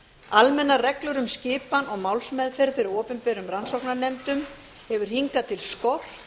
almennar reglur um skipan á málsmeðferð fyrir opinberum rannsóknarnefndum hefur hingað til skort